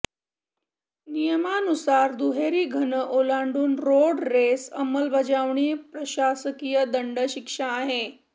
नियमानुसार दुहेरी घन ओलांडून रोड रेस अंमलबजावणी प्रशासकीय दंड शिक्षा आहे